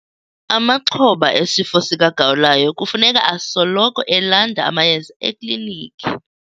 Amaxhoba esifo sikagawulayo kufuneka asoloko elanda amayeza eklinikhi.